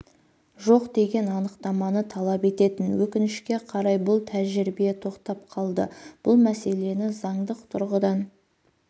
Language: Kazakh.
жоқ деген анықтаманы талап ететін өкінішке қарай бұл тәжірибе тоқтап қалды бұл мәселені заңдық тұрғыдан